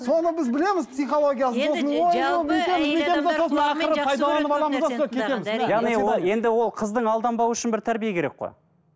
соны біз білеміз психологиясын сосын енді ол қыздың алданбауы үшін бір тәрбие керек қой